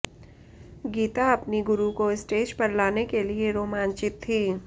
गीता अपनी गुरु को स्टेज पर लाने के लिए रोमांचित थीं